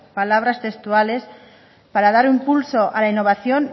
palabras textuales para dar un pulso a la innovación